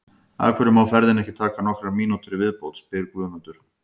Af hverju má ferðin ekki taka nokkrar mínútur í viðbót? spyr Guðmundur.